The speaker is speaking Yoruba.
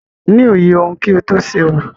Ni òye ohun kí o tó ṣe ohun.